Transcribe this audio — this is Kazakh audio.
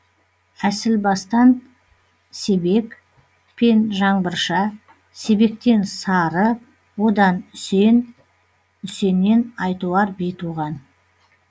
әсілбастан себек пен жанбырша себектен сары одан үсен үсеннен айтуар би туған